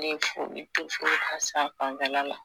Ne ye foli to fo ka s'an fanfɛla la